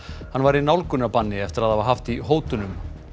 hann var í nálgunarbanni eftir að hafa haft í hótunum